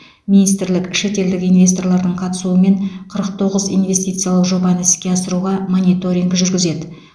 министрлік шетелдік инвесторлардың қатысуымен қырық тоғыз инвестициялық жобаны іске асыруға мониторинг жүргізеді